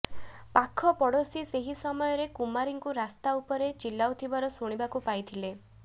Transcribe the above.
ପାଖ ପଡୋଶୀ ସେହି ସମୟରେ କୁମାରୀଙ୍କୁ ରାସ୍ତା ଉପରେ ଚିଲାଉଥିବାର ଶୁଣିବାକୁ ପାଇଥିଲେ